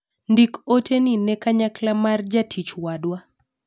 ndik ote ni ne kanyakla mar jatich wadwa